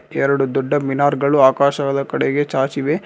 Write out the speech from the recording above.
ಎರಡು ದೊಡ್ಡ ಮಿನಾರ್ ಗಳು ಆಕಾಶದ ಕಡೆಗೆ ಚಾಚಿವೆ.